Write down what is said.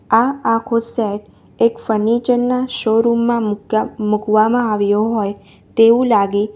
આ આખો સેટ એક ફર્નિચર ના શોરૂમ માં મૂક્યા મૂકવામાં આવ્યો હોય તેવું લાગે --